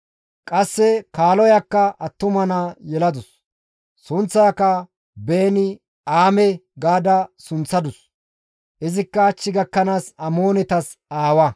Qasse kaaloyakka attuma naa yeladus; sunththaaka Beeni-Aame gaada sunththadus; izikka hach gakkanaas Amoonetas aawa.